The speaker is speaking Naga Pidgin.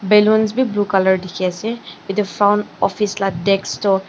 ballons bi blue colour dikhiase edu front office la desk toh.